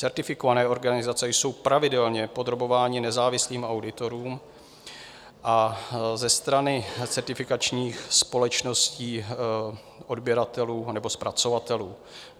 Certifikované organizace jsou pravidelně podrobovány nezávislým auditům a za strany certifikačních společností odběratelů anebo zpracovatelů.